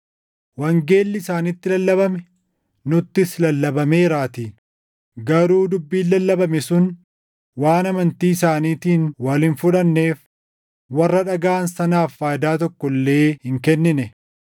Wangeelli isaanitti lallabame nuttis lallabameeraatii; garuu dubbiin lallabame sun waan amantii isaaniitiin wal hin fudhanneef warra dhagaʼan sanaaf faayidaa tokko illee hin kennine.